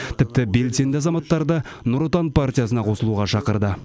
тіпті белсенді азаматтарды нұр отан партиясына қосылуға шақырды